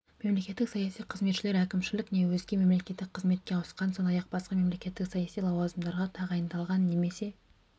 мемлекеттік саяси қызметшілер әкімшілік не өзге мемлекеттік қызметке ауысқан сондай-ақ басқа мемлекеттік саяси лауазымдарға тағайындалған немесе